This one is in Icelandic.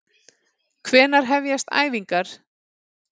Hvenær hefjast æfingar?